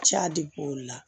Ca de b'o la